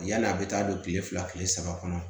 Yani a bɛ taa don kile fila kile saba kɔnɔ